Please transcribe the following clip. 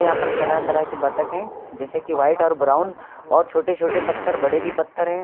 यहां पर तरह तरह के बत्तख हैं जैसे कि व्हाइट और ब्राउन और छोटे छोटे पत्थर और बड़े भी पत्थर है।